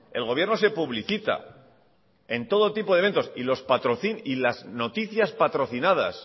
el gobierno se publicita en todo tipo de eventos y las noticias patrocinadas